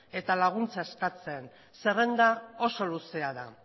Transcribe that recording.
eta babesa eskatzen zerrenda oso luzea da